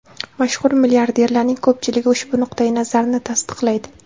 Mashhur milliarderlarning ko‘pchiligi ushbu nuqtai nazarni tasdiqlaydi.